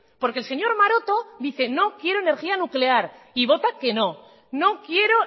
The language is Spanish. porque el señor maroto dice no quiero energía nuclear y vota que no no quiero